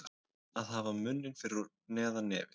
Að hafa munninn fyrir neðan nefið